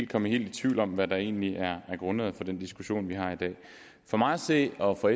komme helt i tvivl om hvad der egentlig er grundlaget for den diskussion vi har i dag for mig at se og for